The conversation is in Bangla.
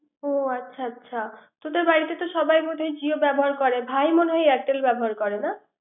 ও আচ্ছা আচ্ছা তোদের বাড়িতে সাবাই বোধ হয় জিও ব্যবহার ভাই মনে হয় airtel ব্যবহার করে না।